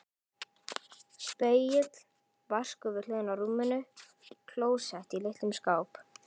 Spegill, vaskur við hliðina á rúminu, klósett í litlum skáp.